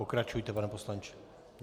Pokračujte, pane poslanče.